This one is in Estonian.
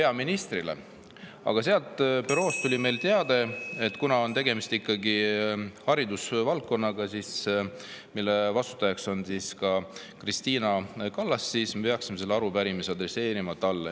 Aga büroost tuli meile teade, et tegemist on haridusvaldkonda, ja kuna selle vastutab Kristina Kallas, siis me peaksime selle arupärimise adresseerima talle.